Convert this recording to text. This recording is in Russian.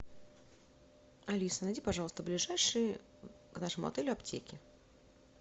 алиса найди пожалуйста ближайшие к нашему отелю аптеки